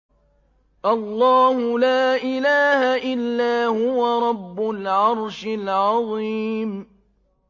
اللَّهُ لَا إِلَٰهَ إِلَّا هُوَ رَبُّ الْعَرْشِ الْعَظِيمِ ۩